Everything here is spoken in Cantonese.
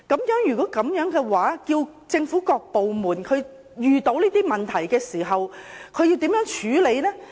如是，當政府各部門遇到這些問題時，它們要如何處理呢？